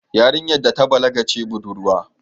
Yarinyar da ta balaga ce budurwa